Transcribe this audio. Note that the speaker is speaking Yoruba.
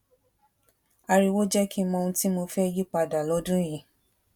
ariwo jé kí n mọ ohun tí mo fé yí pa dà lódún yìí